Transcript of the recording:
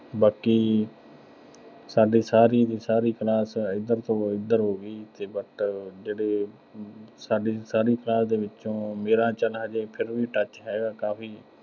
ਬਾਕੀ ਸਾਡੀ ਸਾਰੀ ਦੀ ਸਾਰੀ class ਇਧਰ ਤੋਂ ਉਧਰ ਹੋਗੀ ਤੇ but ਜਿਹੜੇ ਸਾਡੀ ਸਾਰੀ class ਦੇ ਵਿੱਚੋਂ ਮੇਰਾ ਚਲ ਹਜੇ ਵੀ touch ਹੈਗਾ ਕਾਫ਼ੀ